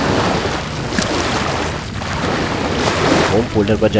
home folder पर जाइये terminal पर टाइप करिये